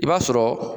I b'a sɔrɔ